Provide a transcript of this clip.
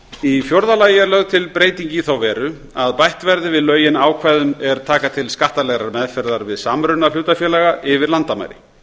í fjórða lagi er lögð til breyting í þá veru að bætt verði við lögin ákvæðum er taka til skattalegrar meðferðar við samruna hlutafélaga yfir landamæri